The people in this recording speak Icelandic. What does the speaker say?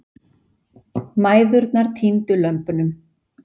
Mæðurnar týndu lömbunum.